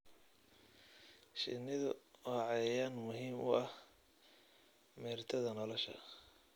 Shinnidu waa cayayaan muhiim u ah meertada nolosha.